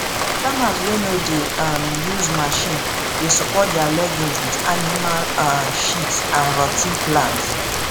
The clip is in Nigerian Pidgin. farmers wey no dey um use machine dey support their legumes with animal um shit and rot ten plant